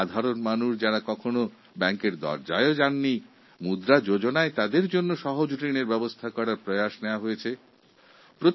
সাধারণ পরিবারের লোকেরা যাঁরা ব্যাঙ্কের দোরগোড়ায় পৌঁছতে পারত না তাঁদের জন্য মুদ্রা যোজনার মাধ্যমে সহজভাবে ঋণ পরিষেবা পৌঁছে দিয়েছি